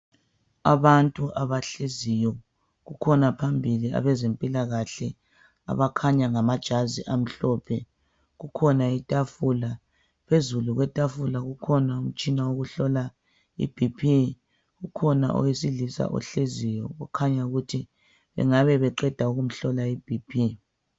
Abantu abahleziyo. Kukhona abezempilakahle abakhanya ngama jazi omhlophe. Kukhona itafula. Phezu kwetafula kukhona umtshina wokuhlola ibp, kukhona owesilisa ohleziyo okhanya ukuthi engabe beqeda ukumhlola iBp.